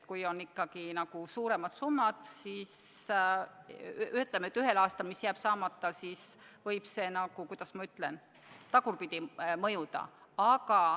Kui ikkagi ühel aastal jäävad saamata suuremad summad, siis see võib, kuidas ma ütlen, tagurpidi mõjuda.